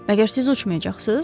Məgər siz uçmayacaqsınız?